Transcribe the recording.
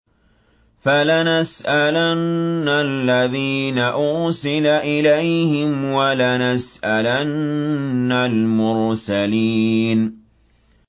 فَلَنَسْأَلَنَّ الَّذِينَ أُرْسِلَ إِلَيْهِمْ وَلَنَسْأَلَنَّ الْمُرْسَلِينَ